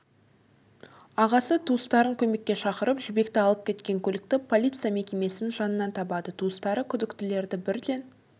ағасы туыстарын көмекке шақырып жібекті алып кеткен көлікті полиция мекемесінің жанынан табады туыстары күдіктілерді бірден